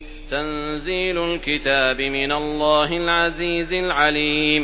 تَنزِيلُ الْكِتَابِ مِنَ اللَّهِ الْعَزِيزِ الْعَلِيمِ